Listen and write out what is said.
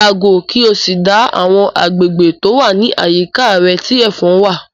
Yàgò kí o sì dá àwọn agbègbè tó wà ní àyíká rẹ tí ẹ̀fon wà!